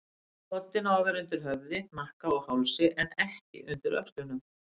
Koddinn á að vera undir höfði, hnakka og hálsi, en ekki undir öxlunum.